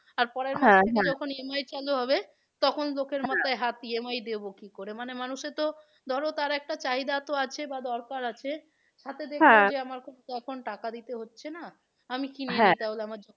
আর EMI চালু হবে তখন লোকের হাত EMI দেবো কি করে? মানে মানুষের তো ধরো তার একটা চাহিদা তো আছে বা দরকার আছে সাথে তো এখন টাকা দিতে হচ্ছে না আমি কিনি আমার